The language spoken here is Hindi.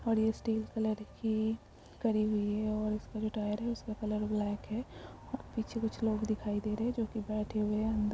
और ये स्टील कलर की करी हुई है उसका जो टायर है उसका कलर ब्लैक है और पीछे कुछ लोग दिखाई दे रहे हैं जो कि बैठे हुए हैं अन्दर।